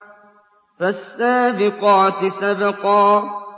فَالسَّابِقَاتِ سَبْقًا